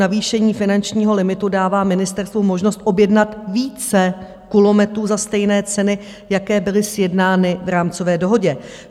Navýšení finančního limitu dává ministerstvu možnost objednat více kulometů za stejné ceny, jaké byly sjednány v rámcové dohodě.